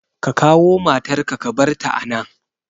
Ka kawo matar ka ka barta a nan!